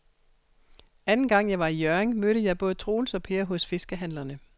Anden gang jeg var i Hjørring, mødte jeg både Troels og Per hos fiskehandlerne.